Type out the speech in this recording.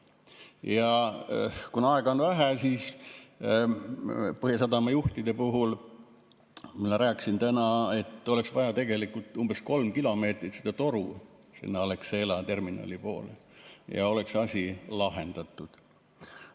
Ja kuna aega on vähe, siis Põhjasadama juhtide arvates, ma rääkisin nendega täna, oleks vaja tegelikult umbes 3 kilomeetrit seda toru sinna Alexela terminali poole, ja oleks asi lahendatud.